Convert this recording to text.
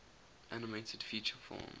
animated feature film